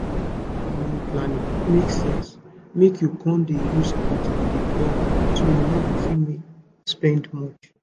to dey use natural family planning make sense make you con dey use chart to dey plan so you no go fit spend much